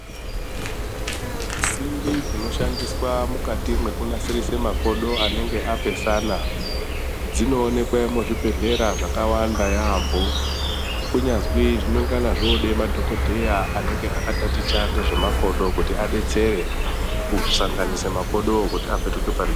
Simbi dzinoshandiswa mukati kunasirise makodo anenga apesana dzinoonekwa muzvibhedhlera zvakawanda yaamho kunyazwi zvinenga zvakuda madhokodheya anenga akataticha ngezvemakodo kuti abetsere kusanganisa makodowo kuti apetuke .